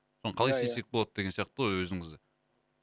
оны қалай істесек болады деген сияқты ғой өзіңізді